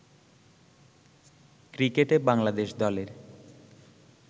ক্রিকেটে বাংলাদেশ দলের